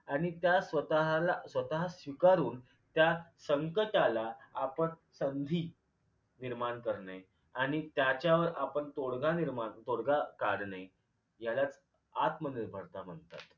आणि त्या स्वःताला स्वतः स्वीकारून त्या संकटाला आपण संधी निर्माण करणे आणि त्याच्यावर आपण तोडगा निर्माण तोडगा काढणे यालाच आत्मनिर्भरता म्हणतात